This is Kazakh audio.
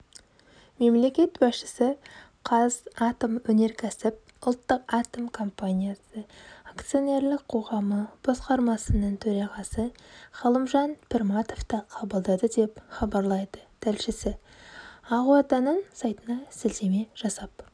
мемлекет басшысы қазатомөнеркәсіп ұлттық атом компаниясы акционерлік қоғамы басқармасының төрағасы ғалымжан пірматовты қабылдады деп хабарлайды тілшісі ақорданың сайтына сілтеме жасап